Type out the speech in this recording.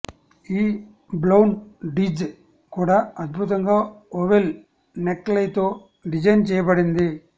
ఈ బ్లౌన్ డిజ్ కూడా అద్బుతంగా ఓవెల్ నెక్ లైతో డిజైన్ చేయబడింది